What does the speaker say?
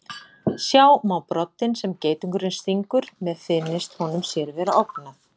Sjá má broddinn sem geitungurinn stingur með finnist honum sér vera ógnað.